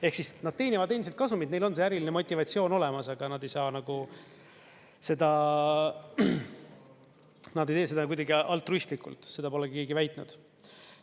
Ehk siis nad teenivad endiselt kasumit, neil on see äriline motivatsioon olemas, aga nad ei tee seda kuidagi altruistlikult, seda polegi keegi väitnud.